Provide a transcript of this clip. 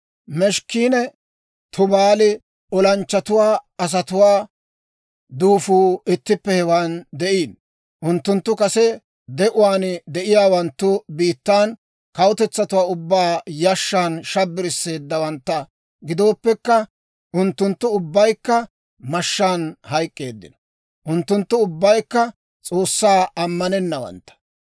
«Meshekinne Tubaali olanchchatuwaa asatuwaa duufuu ittippe hewaan de'iino; unttunttu kase de'uwaan de'iyaawanttu biittaan kawutetsatuwaa ubbaa yashshan shabbarseeddawantta gidooppekka, unttunttu ubbaykka mashshaan hayk'k'eeddino. Unttunttu ubbaykka S'oossaa ammanennawantta.